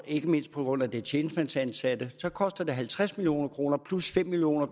ikke mindst på grund af de tjenestemandsansatte koster det halvtreds million kroner plus fem million